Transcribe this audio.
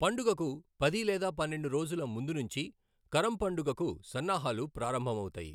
పండుగకు పది లేదా పన్నెండు రోజుల ముందునుంచి కరం పండుగకు సన్నాహాలు ప్రారంభమవుతాయి.